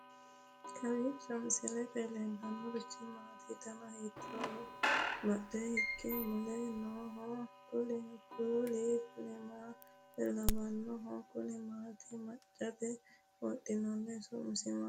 kowiicho misilete leellanorichi maati ? dana hiittooho ?abadhhenni ikko uulla noohu kuulu kuni maa lawannoho? kuni maati maccate wodhinannite su'ma maati